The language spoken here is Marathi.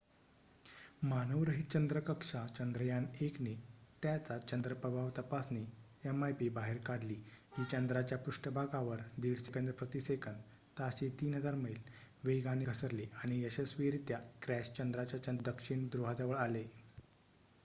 मानवरहित चंद्र कक्षा चंद्रयान -1 ने त्याचा चंद्र प्रभाव तपासणी mip बाहेर काढली जी चंद्राच्या पृष्ठभागावर 1.5 सेकंद प्रति सेकंद ताशी 3000 मैल वेगाने घसरलेआणि यशस्वीरित्या क्रॅश चंद्राच्या दक्षिण ध्रुवाजवळ आले